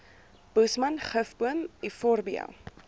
boesman gifboom euphorbia